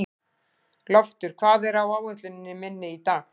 Loftur, hvað er á áætluninni minni í dag?